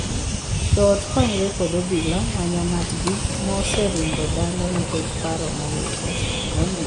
Joot konyore kod obila manyo ng'atgi ma oseringo dala nikech paro mowilore.